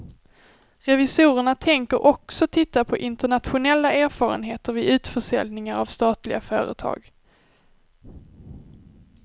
Revisorerna tänker också titta på internationella erfarenheter vid utförsäljningar av statliga företag.